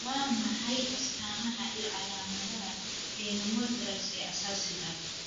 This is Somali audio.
Waa maxay astamaha iyo calaamadaha pneumothorax ee asaasiga ah?